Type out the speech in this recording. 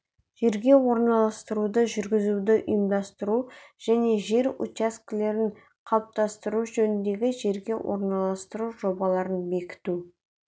жерге орналастыруды жүргізуді ұйымдастыру және жер учаскелерін қалыптастыру жөніндегі жерге орналастыру жобаларын бекіту